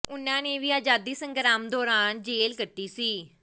ਉਨ੍ਹਾਂ ਨੇ ਵੀ ਆਜ਼ਾਦੀ ਸੰਗਰਾਮ ਦੌਰਾਨ ਜੇਲ੍ਹ ਕੱਟੀ ਸੀ